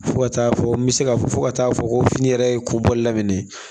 Fo ka taa fɔ n bɛ se ka fɔ ka t'a fɔ ko fini yɛrɛ ye kobɔli daminɛ